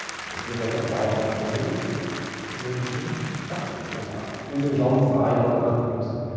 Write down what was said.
бір жағынан далада қону мен үшін жақсы енді өзің жалғыз айдалада қалып қоймасаң